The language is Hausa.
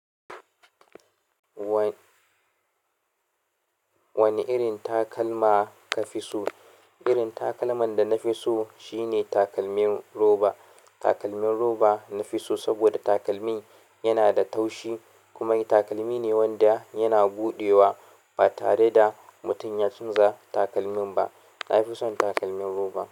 Wan, wani wane irin takalma ka fi so? Irin takalman da na fi so shine takalmin roba. Takalmin roba na fi so saboda takalmi yana da taushi kuma takalmi ne wanda yana buɗewa ba tare da mutum ya chanza takalmin ba. Na fi son takalmin roba.